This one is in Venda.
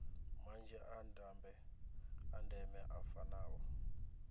manzhi a ndeme a fanaho